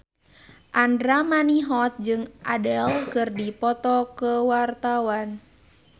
Andra Manihot jeung Adele keur dipoto ku wartawan